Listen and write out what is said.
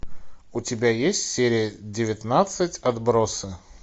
у тебя есть серия девятнадцать отбросы